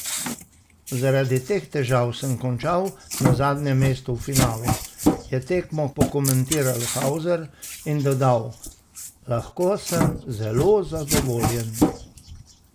Zaradi teh težav sem končal na zadnjem mestu v finalu," je tekmo pokomentiral Halzer in dodal: "Lahko sem zelo zadovoljen.